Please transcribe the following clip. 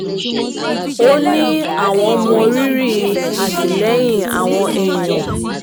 ó ní àwọn mọ rírì àtìlẹ́yìn àwọn èèyàn